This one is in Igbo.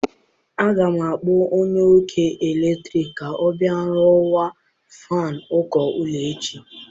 Aga m akpọ onye ọkụ eletrik ka ọ bịa rụkwaa fan uko ụlọ echi.